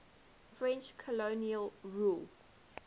french colonial rule